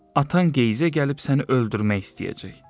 Atan qeyzə gəlib səni öldürmək istəyəcək.